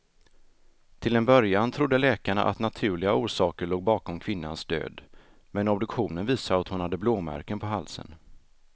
Till en början trodde läkarna att naturliga orsaker låg bakom kvinnans död, men obduktionen visade att hon hade blåmärken på halsen.